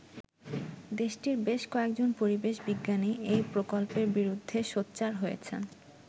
দেশটির বেশ কয়েকজন পরিবেশ বিজ্ঞানী এই প্রকল্পের বিরুদ্ধে সোচ্চার হয়েছেন।